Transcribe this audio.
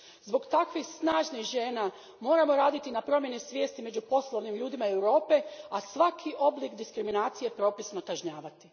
Zbog takvih snažnih žena moramo raditi na promjeni svijesti među poslovnim ljudima Europe, a svaki oblik diskriminacije propisno kažnjavati.